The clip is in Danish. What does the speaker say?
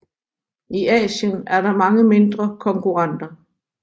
I Asien er der mange mindre konkurrenter